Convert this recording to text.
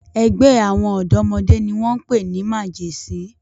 Ẹgbẹ́ àwọn ọ̀dọ́mọdé ni wọ́n pè ní 'màgẹ̀sín'.